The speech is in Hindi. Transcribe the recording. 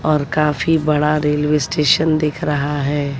और काफी बड़ा रेलवे स्टेशन दिख रहा है।